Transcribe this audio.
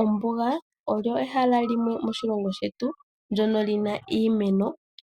Ombuga olo ehala limwe moshilongo shetu ndyono lina iimeno